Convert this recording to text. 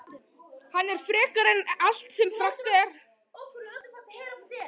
Hann er frekari en allt sem frekt er.